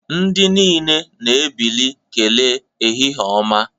Ndị niile na-ebili wee kelee ehihie ọma